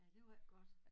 Ja det var ikke godt